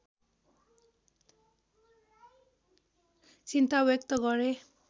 चिन्ता व्यक्त गरे